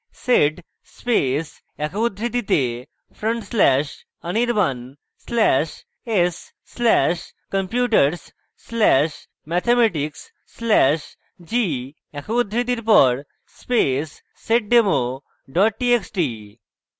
sed space একক উদ্ধৃতিতে front slash anirban slash s slash computers slash mathematics slash g একক উদ্ধৃতির পর space seddemo txt txt